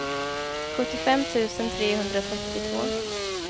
sjuttiofem tusen trehundratrettiotvå